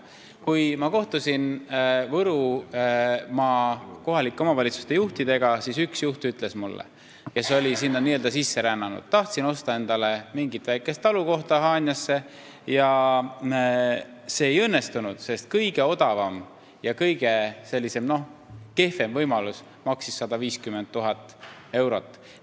Kui ma kohtusin Võrumaa kohalike omavalitsuste juhtidega, siis üks juht ütles mulle – ta oli sinna n-ö sisse rännanud –, et ta tahtis osta endale mingit väikest talukohta Haanjasse, aga see ei õnnestunud, sest ka kõige odavam ja kõige kehvem võimalus maksis 150 000 eurot.